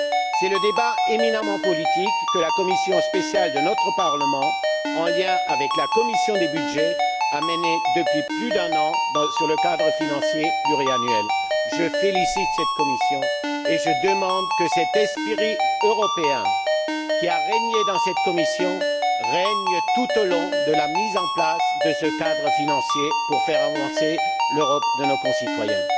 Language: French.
C'est le débat éminemment politique que la commission spéciale de notre Parlement, en lien avec la commission des budgets, a mené depuis plus d'un an sur le cadre financier pluriannuel. Je félicite cette commission et je demande que cet esprit européen, qui s'y est manifesté, règne tout au long de la mise en place de ce cadre financier, pour faire avancer l'Europe de nos concitoyens.